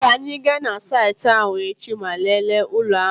Ka anyị gaa na saịtị ahụ echi ma lelee ụlọ ahụ.